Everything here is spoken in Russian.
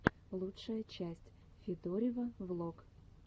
лучшая часть федорива влог